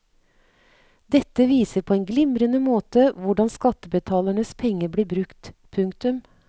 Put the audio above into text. Dette viser på en glimrende måte hvordan skattebetalernes penger blir brukt. punktum